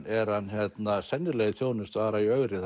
er hann sennilega í þjónustu Ara í ögri